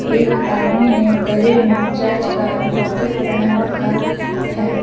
एक आदमी ने गले में चर्च का लॉकेट पहन रखा है।